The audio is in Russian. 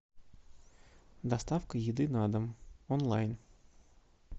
доставка еды на дом онлайн